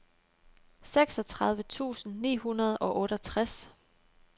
seksogtredive tusind ni hundrede og otteogtres